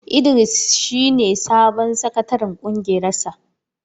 Idris shi ne sabon sakataren ƙungiyar sa.